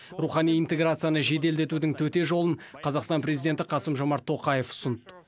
рухани интеграцияны жеделдетудің төте жолын қазақстан президенті қасым жомарт тоқаев ұсынды